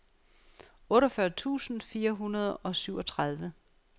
otteogfyrre tusind fire hundrede og syvogtredive